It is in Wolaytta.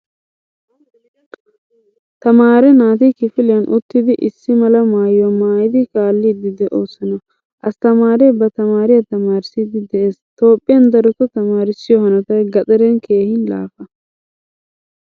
Tamaare naati kifiliyan uttidi issimala maayuwaa maayidi kaalidi deosona. Asttamaare ba tamaariyaa tamaarissidi de'ees. Toophphiyan daroto tamaarissiyo hanottay gaxaren keehin laafa.